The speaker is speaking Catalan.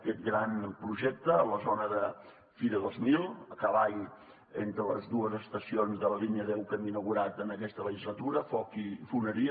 aquest gran projecte a la zona de fira dos mil a cavall entre les dues estacions de la línia deu que hem inaugurat en aquesta legislatura foc i foneria